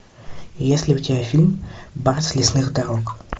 есть ли у тебя фильм барс лесных дорог